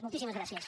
moltíssimes gràcies